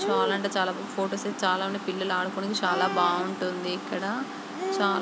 చాలా అంటే చాలా ఫొటోస్ ఐతే చాలా పిల్లలు ఆడుకోవటానికి బాగుంటుంది ఇక్కడ.చాలా--